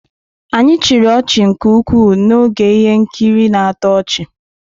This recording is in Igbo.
Anyị chịrị ọchị nke ukwuu n'oge ihe nkiri na-atọ ọchị.